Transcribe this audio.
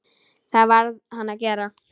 Það varð hann að gera.